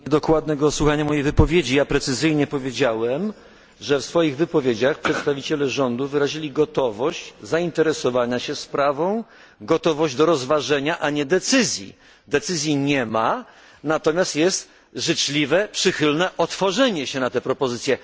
Proszę o dokładne słuchanie mojej wypowiedzi. Precyzyjnie powiedziałem, że w swoich wypowiedziach przedstawiciele rządu wyrazili gotowość zainteresowania się sprawą, gotowość jej rozważenia, a nie podjęcia decyzji. Decyzji nie ma, natomiast jest życzliwe, przychylne otworzenie się na tę propozycję.